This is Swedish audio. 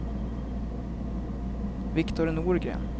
Viktor Norgren